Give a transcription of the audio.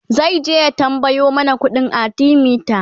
zaije ya tambayo mana ƙuɗin arthemeter